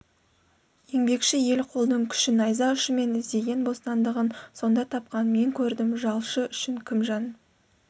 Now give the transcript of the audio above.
еңбекші ел қолдың күші найза ұшымен іздеген бостандығын сонда тапқан мен көрдім жалшы үшін кім жан